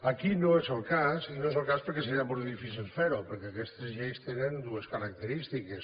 aquí no és el cas i no és el cas perquè seria molt difícil fer ho perquè aquestes lleis tenen dues característiques